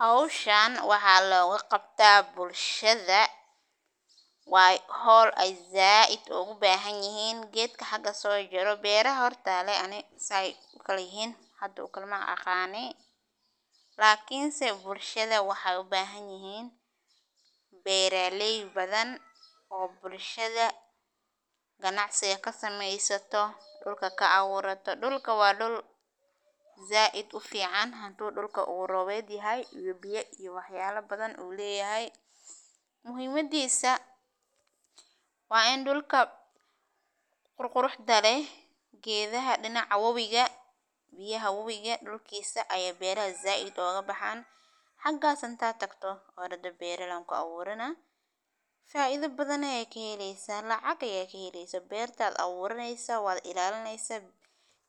Howshan waxa loga qabta bulshada ,waa howl ay zaid ugu bahan yihin ,gedka haga so jiro, beeraha horta aniga leh makasayi sey u kala yihin ,lakin bulshada waxey u bahan yihin beeraley badan ,bulshada ganacsiga kasamesato ,dhulka ka aburata ,dhulka waa dhul zaid u fican ,dhulka u robed yahay uu wax yabo badan leyahay ,muhimadisa waa in dhulka qurquruxda leh dinaca wabiga ,biyaha wabiga dhulkisa ayey beraha zaid oga bahan hagas inta tagto oo dhada beral an kuaburana ,faida badan ayad kahelesa ,lacagta ayad kahelesa berta ayad aburanesa waad ilalinesa